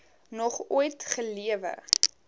nog ooit gelewe